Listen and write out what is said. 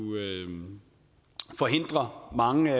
forhindre mange